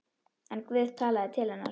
En Guð talaði til hennar.